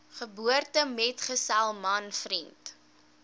geboortemetgesel man vriend